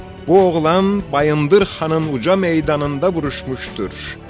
Bu oğlan Bayındır xanın uca meydanında vuruşmuşdur.